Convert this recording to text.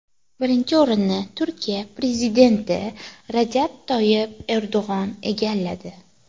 Birinchi o‘rinni Turkiya prezidenti Rajab Toyib Erdo‘g‘on egalladi.